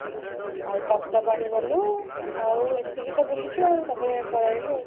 ଆଉ ତପ୍ତପାଣି ଗଲୁ ଆଉ ଏତିକି ତ ବୁଲିଛୁ ଆଉ ତା ପରେ ପଳେଇଆଇଲୁ ଆଉ